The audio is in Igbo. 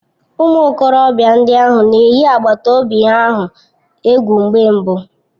Ụmụ okorobịa ndị ahụ na-eyi agbata obi ahụ egwu mgbe mbụ